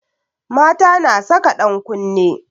Mata na saka ɗan kunne